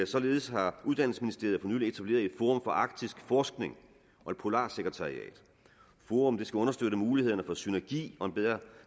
således har uddannelsesministeriet for nylig etableret et forum for arktisk forskning og et polarsekretariat forummet skal understøtte mulighederne for synergi og en bedre